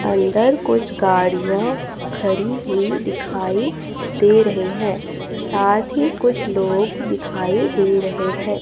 अंदर कुछ गाड़ियां खड़ी हुई दिखाई दे रही है साथ ही कुछ लोग दिखाई दे रहे हैं।